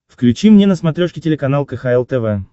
включи мне на смотрешке телеканал кхл тв